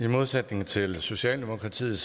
i modsætning til socialdemokratiet